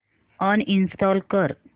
uninstall कर